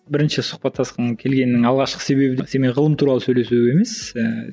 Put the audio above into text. бірінші сұхбаттасқым келгенінің алғашқы себебі сенімен ғылым туралы сөйлесу емес ііі